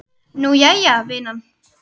Nú, jæja, vinan.